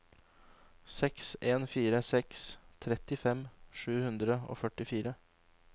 seks en fire seks trettifem sju hundre og førtifire